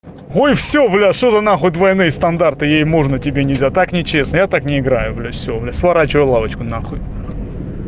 ой всё блядь что-то за нахуй двойные стандарты ей можно тебе нельзя так нечестно я так не играю блядь всё я сворачиваю лавочку на хуй